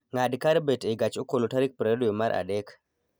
ng'ad kar bet e gach okolo tarik 20 dwe ma Adek